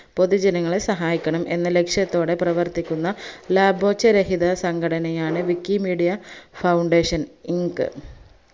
പൊതുജനങ്ങളെ സഹായിക്കണം എന്ന ലക്ഷ്യത്തോടെ പ്രവർത്തിക്കുന്ന ലബോർച്ച രഹിതസംഘടനയാണ് wikimedia foundation ink